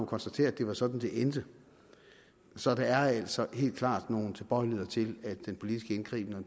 konstatere at det var sådan det endte så der er altså helt klart nogle tilbøjeligheder til at den politiske indgriben og